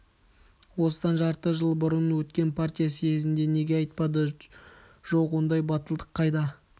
осыдан жарты жыл бұрын өткен партия съезінде неге айтпады жоқ ондай батылдық қайда